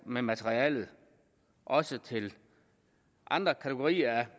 med materialet også til andre kategorier af